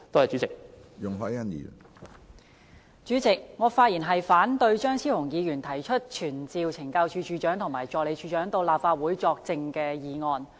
主席，我發言反對張超雄議員提出傳召懲教署署長及助理署長到立法會作證的議案。